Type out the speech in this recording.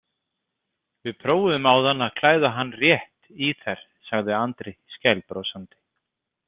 Við prófuðum áðan að klæða hann rétt í þær, sagði Andri skælbrosandi.